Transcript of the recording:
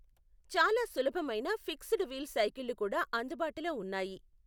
చాలా సులభమైన fixed wheel సైకిళ్ళు కూడా అందుబాటులో ఉన్నాయి.